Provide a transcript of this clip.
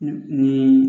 Ni